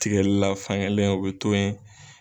Tigɛlila fankelen o bɛ to yen.